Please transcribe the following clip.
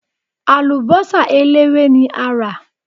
Àlùbọ́sà eléwé ni a rà.